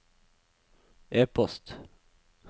e-post